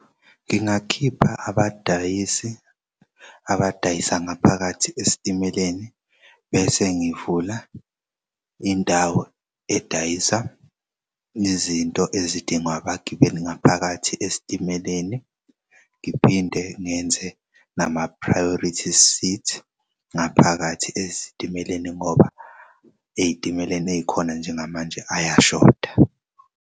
Ngingakhipha abadayisi abadayisa ngaphakathi esitimeleni bese ngivula indawo edayisa izinto ezidingwa abagibeli ngaphakathi esitimeleni ngiphinde ngenze nama-priorities seat ngaphakathi esitimeleni ngoba ey'timeleni ey'khona njengamanje ayashoda.